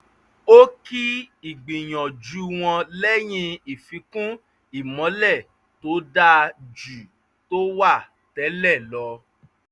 ó kí ìgbìnyanju wọn lẹ́yìn ìfíkún ìmọ́lẹ̀ tó dáa ju tó wà tẹ́lẹ̀ lọ